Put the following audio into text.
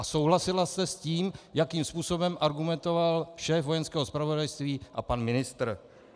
A souhlasila jste s tím, jakým způsobem argumentoval šéf Vojenského zpravodajství a pan ministr.